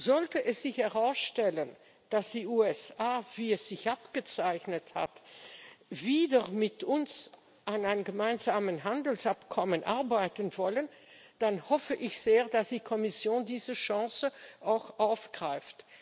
Sollte sich herausstellen, dass die USA, wie es sich abgezeichnet hat, wieder mit uns an einem gemeinsamen Handelsabkommen arbeiten wollen, dann hoffe ich sehr, dass die Kommission diese Chance auch aufgreift.